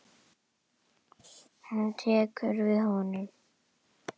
Hún tekur við honum.